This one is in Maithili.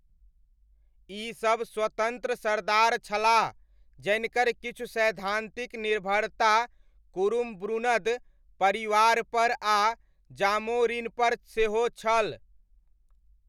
ई सब स्वतन्त्र सरदार छलाह, जनिकर किछु सैद्धान्तिक निर्भरता कुरुम्ब्रुनद परिवारपर आ जामोरिनपर सेहो छल।